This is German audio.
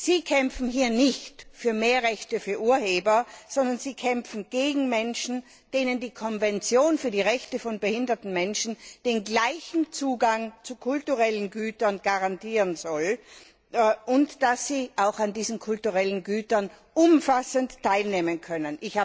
Sie kämpfen hier nicht für mehr Rechte für Urheber, sondern Sie kämpfen gegen Menschen, denen die Konvention für die Rechte von behinderten Menschen den gleichen Zugang zu kulturellen Gütern garantieren soll, damit sie auch an diesen kulturellen Gütern umfassend teilnehmen können.